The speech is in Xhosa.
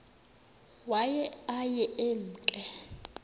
waye aye emke